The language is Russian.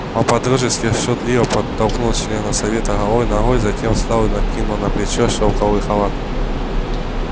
он по-дружески шутливо подтолкнул члена совета голой ногой затем встал и накинул на плечи шелковый халат